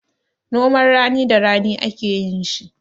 Noman rani da rani ake yin shi.